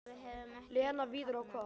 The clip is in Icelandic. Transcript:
Lena, Viðar og- Og hvað?